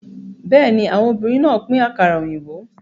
Bẹ́ẹ̀ni, àwọn obìnrin náà pín àkàrà òyìnbó.